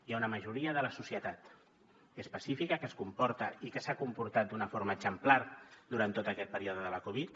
hi ha una majoria de la societat que és pacífica que es comporta i que s’ha comportat d’una forma exemplar durant tot aquest període de la covid